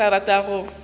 ga ke sa rata go